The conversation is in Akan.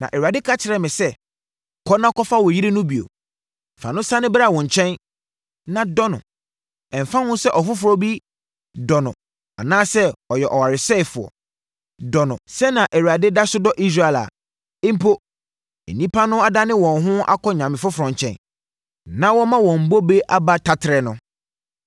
Na Awurade ka kyerɛɛ me sɛ, “Kɔ na kɔfa wo yere no bio. Fa no sane bra wo nkyɛn, na dɔ no. Ɛmfa ho sɛ ɔfoforɔ bi dɔ no anaa sɛ ɔyɛ ɔwaresɛefoɔ. Dɔ no, sɛdeɛ Awurade da so dɔ Israel a, mpo, nnipa no adane wɔn ho kɔ anyame foforɔ nkyɛn, na wɔma wɔn bobe aba taterɛ no.”